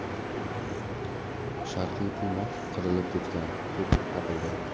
Sharqiy puma qirilib ketgan tur deb topildi.